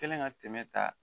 Kɛlen ka tɛmɛ ka